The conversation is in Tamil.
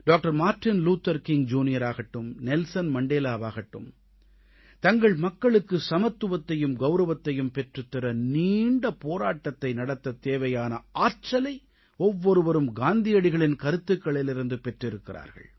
மார்ட்டின் லூதர் கிங் ஜூனியராகட்டும் நெல்சன் மண்டேலாவாகட்டும் தங்கள் மக்களுக்கு சமத்துவத்தையும் கௌரவத்தையும் பெற்றுத்தர நீண்ட போராட்டத்தை நடத்தத் தேவையான ஆற்றலை ஒவ்வொருவரும் காந்தியடிகளின் கருத்துகளிலிருந்து பெற்றிருக்கிறார்கள்